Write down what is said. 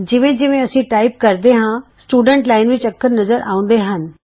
ਜਿਵੇਂ ਜਿਵੇਂ ਅਸੀਂ ਟਾਈਪ ਕਰਦੇ ਹਾਂ ਵਿਦਿਆਰਥੀ ਲਾਈਨ ਵਿੱਚ ਅੱਖਰ ਨਜ਼ਰ ਆਉਂਦੇ ਹਨ